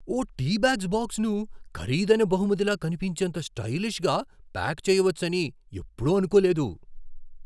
ఓ tea bags బాక్స్ను ఖరీదైన బహుమతిలా కనిపించేంత స్టైలిష్గా ప్యాక్ చేయవచ్చని ఎప్పుడూ అనుకోలేదు.